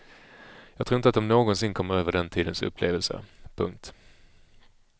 Jag tror inte att de någonsin kom över den tidens upplevelser. punkt